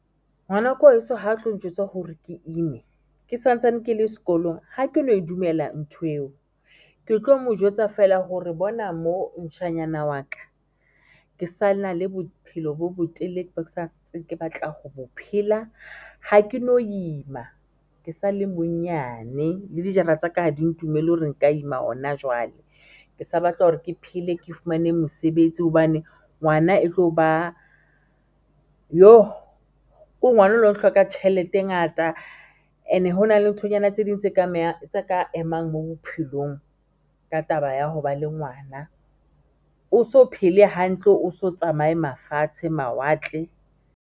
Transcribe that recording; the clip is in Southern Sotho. Ngwana ko heso ha tlo njwetsa hore ke imme ke santsane ke le skolong, ha ke no e dumela ntho yeo ke tlo mo jwetsa feela hore bona mo ntjhanyana wa ka ke sana le bophelo bo bo telele bo ke santseng ke batla ho bo phela. Ha ke no ima, ke sa le monyane le dijara tsaka ha di ntumelle hore nka ima hona jwale ke sa batla hore ke phele, ke fumane mosebetsi hobane ngwana e tlo ba Kore ngwananewa o hloka tjhelete e ngata and-e hona le nthonyana tse ding tse ka tse ka emang mo bophelong ka taba ya ho ba le ngwana o so phele hantle, o so tsamaye mafatshe mawatle.